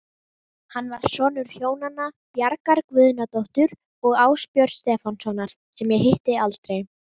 Meyvant